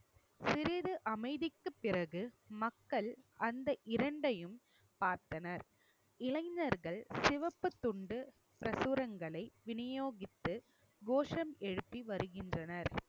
சிறிது அமைதிக்குப் பிறகு மக்கள் அந்த இரண்டையும் பார்த்தனர் இளைஞர்கள் சிவப்புத் துண்டு பிரசுரங்களை விநியோகித்து கோஷம் எழுப்பி வருகின்றனர்